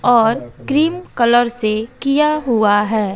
और cream colour से किया हुआ है।